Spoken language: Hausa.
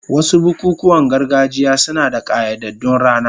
Wasu bukukuwan gargajiya suna da ƙayyadaddun rana.